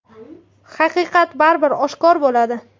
Haqiqat baribir oshkor bo‘ladi.